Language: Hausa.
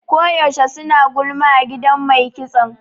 Ko yaushe suna gulma a gidan mai kitson.